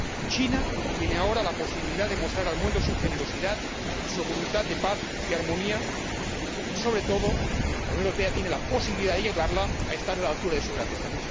China tiene ahora la posibilidad de mostrar al mundo su generosidad y su voluntad de paz y armonía y, sobre todo, la Unión Europea tiene la posibilidad de ayudarla a estar a la altura de su grandeza.